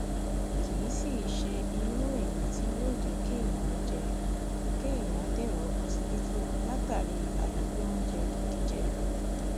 kì í sì í ṣe irú èyí tí yóò jẹ kéèyàn jẹ kéèyàn dèrò ọsibítù látàrí àìrí oúnjẹ gidi jẹ